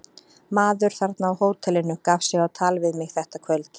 Maður þarna á hótelinu gaf sig á tal við mig þetta kvöld.